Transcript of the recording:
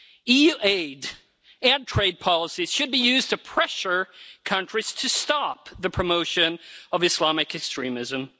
EU aid and trade policies should be used to pressure countries to stop the promotion of Islamic extremism.